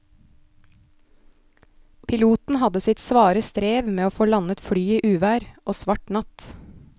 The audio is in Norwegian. Piloten hadde sitt svare strev med å få landet flyet i uvær og svart natt.